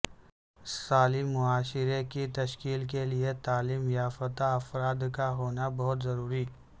صالح معاشرہ کی تشکیل کیلئے تعلیم یافتہ افرادکاہونابہت ضروری